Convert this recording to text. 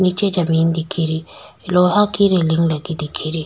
नीचे जमीन दिखेरी लोहा की रेलिंग लगी दिखेरी।